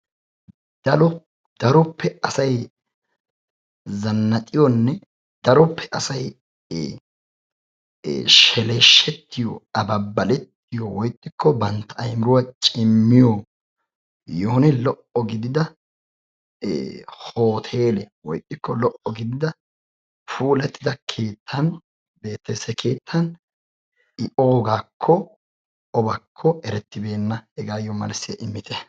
daro daroppe asay zannaxiyoonne daroppe asay ee ee sheleeshetiyoo ababaletiyoo woy ixxikko bantta aymiruwaa cimmiyoo yehoone lo"o gidida hoteele woy ixxiko lo"o gidida puulattidda keettan beettees. he keettan i oogakko obakko erettibenna. hegaassi malsiyaa immite.